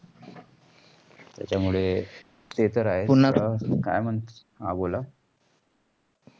त्याचामुळे ते तर आहेच. पुन्हा काय मंथा हा बोला.